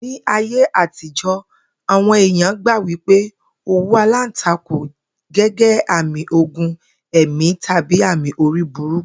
Ní ayé àtijó̩, àwo̩n èèyàn gbà wípé òwú aláǹtakùn gé̩gé̩ àmì ogun è̩mí tàbí àmì orí burúkú